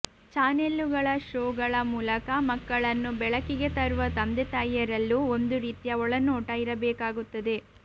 ಚಾನೆಲ್ಲುಗಳ ಶೋಗಳ ಮೂಲಕ ಮಕ್ಕಳನ್ನು ಬೆಳಕಿಗೆ ತರುವ ತಂದೆತಾಯಿಯರಲ್ಲೂ ಒಂದು ರೀತಿಯ ಒಳನೋಟ ಇರಬೇಕಾಗುತ್ತದೆ